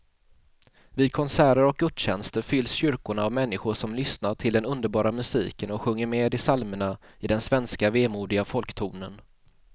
Vid konserter och gudstjänster fylls kyrkorna av människor som lyssnar till den underbara musiken och sjunger med i psalmerna i den svenska vemodiga folktonen.